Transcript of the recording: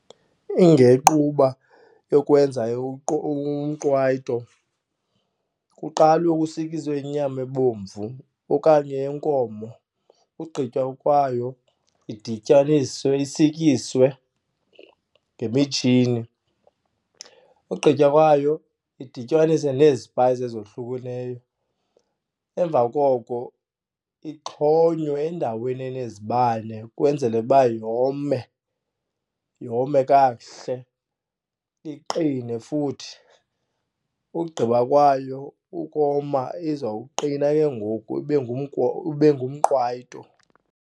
yokwenza umqwayito kuqalwe kusikiswe inyama ebomvu okanye yenkomo. Ugqitywa kwayo idityaniswe isikiswe ngemitshini, ugqitywa kwayo idityaniswe nezipayisi ezohlukileyo. Emva koko ixhonywe endaweni enezibane ukwenzele uba yome, yome kakuhle iqine futhi. Ugqiba kwayo ukoma izawuqina ke ngoku ibe ibe ngumqwayito.